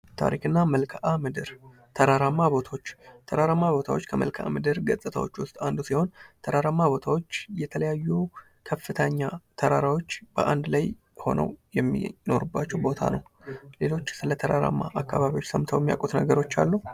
ታሪክ እና መልካ ምድር ተራራማ ቦታዎች ከመልካ ምድር ገጽታዎች አንዱ ሲሆን ተራራማ ቦታዎች የተለያዩ ከፍተኛ ተራራዎች በአንድ ላይ ሆነው የሚኖሩባቸው ቦታ ነው። ሌሎች ስለተራራማ ቦታዎች ሰምተው የሚያውቁት ነገር አሉ?